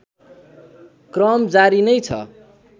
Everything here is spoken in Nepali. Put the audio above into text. क्रम जारी नै छ